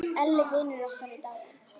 Elli vinur okkar er dáinn.